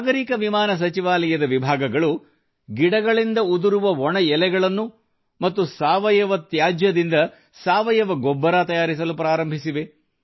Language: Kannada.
ನಾಗರೀಕ ವಿಮಾನ ಸಚಿವಾಲಯದ ವಿಭಾಗಗಳು ಗಿಡಗಳಿಂದ ಉದುರುವ ಒಣ ಎಲೆಗಳನ್ನು ಮತ್ತು ಸಾವಯವ ತ್ಯಾಜ್ಯದಿಂದ ಸಾವಯವ ಗೊಬ್ಬರ ತಯಾರಿಸಲು ಪ್ರಾರಂಭಿಸಿವೆ